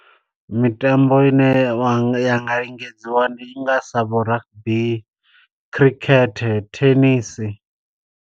Mitambo i ne wa nga, ya nga lingedziwa ndi i nga sa vho rugby, cricket, thenisi.